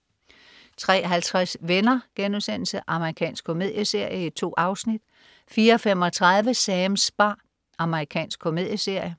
03.50 Venner.* Amerikansk komedieserie. 2 afsnit 04.35 Sams bar. Amerikansk komedieserie